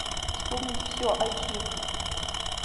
вспомнить все айч ди